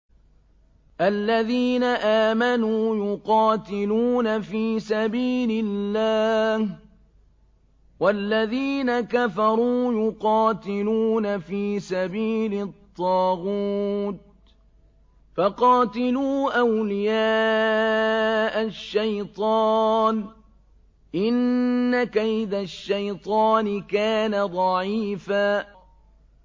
الَّذِينَ آمَنُوا يُقَاتِلُونَ فِي سَبِيلِ اللَّهِ ۖ وَالَّذِينَ كَفَرُوا يُقَاتِلُونَ فِي سَبِيلِ الطَّاغُوتِ فَقَاتِلُوا أَوْلِيَاءَ الشَّيْطَانِ ۖ إِنَّ كَيْدَ الشَّيْطَانِ كَانَ ضَعِيفًا